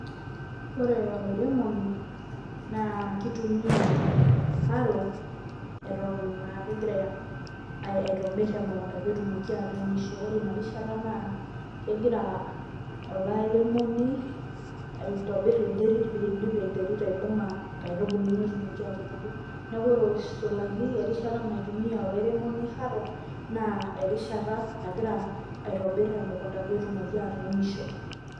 Ore olairemoni naa keitumiya haro eton aa kegira aitobbirr emukunta pee etumoki atuunisho ,ore ina rishata naa kegira olairemoni aitobirr enterit pee eidim enterit aibunga nkaitubulu netumoki atubulu, neeku ore aitirishaki erishata naitumiya olairemoni haro naa erishata nagira aitobirr emukunda pee etumoki atuunisho.